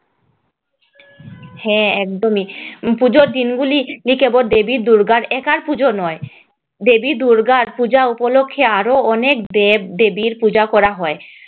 হ্যাঁ একদমই পুজোর দিনগুলি এ কেবল দেবী দুর্গার একার পূজা নয় দেবীদুর্গার পূজা উপলক্ষে আরও অনেক দেব-দেবীর পূজা করা হয়